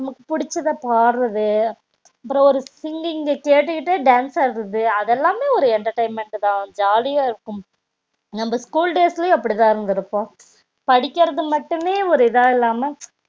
நமக்கு புடிச்சத பாடுறது அப்றம் ஒரு singing ங்க கேட்டுகிட்டே dance ஆடுறது அது எல்லாமே ஒரு entertainment தா ஜாலியா இருக்கும் நம்ப school days ளையும் அப்டிதா இருந்து இருப்போம் படிகர்த்து மட்டுமே ஒரு இதா இல்லாம